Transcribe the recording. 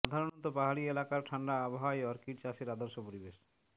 সাধারণত পাহাড়ি এলাকার ঠান্ডা আবহাওয়াই অর্কিড চাষের আদর্শ পরিবেশ